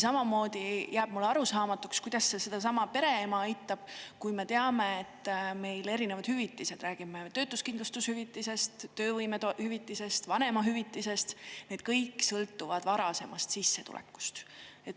Samamoodi jääb mulle arusaamatuks, kuidas see sedasama pereema aitab, kui me teame, et meil erinevad hüvitised – räägime töötuskindlustushüvitisest, töövõimehüvitisest, vanemahüvitisest – sõltuvad varasemast sissetulekust.